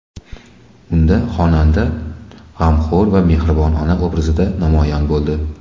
Unda xonanda g‘amxo‘r va mehribon ona obrazida namoyon bo‘ldi.